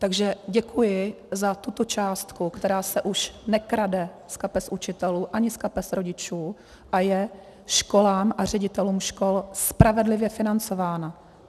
Takže děkuji za tuto částku, která se už nekrade z kapes učitelů ani z kapes rodičů a je školám a ředitelům škol spravedlivě financována.